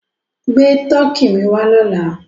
Gbé Tọkì mi wà lọ́là!